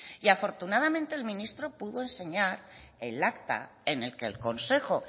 y afortunadamente el ministro pudo enseñar el acta en el que el consejo